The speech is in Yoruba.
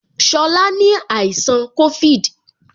Shola ni àìsàn covid